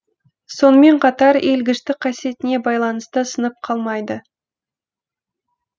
сонымен қатар иілгіштік қасиетіне байланысты сынып қалмайды